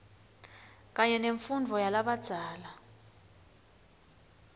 kanye nemfundvo yalabadzala